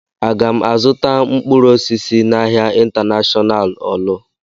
Aga m azụta mkpụrụ osisi n'ahia Intanashọnal Ọọlụ?